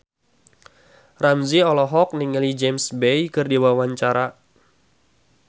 Ramzy olohok ningali James Bay keur diwawancara